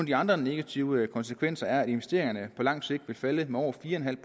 de andre negative konsekvenser er at investeringerne på lang sigt vil falde med over fire en halv